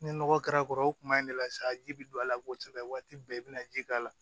Ni nɔgɔ kɛra kɔrɔ o kuma in ne la sa ji bɛ don a la kosɛbɛ waati bɛɛ i bɛna ji k'a la